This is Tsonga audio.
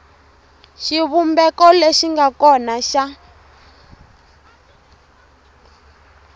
xivumbeko lexi nga kona xa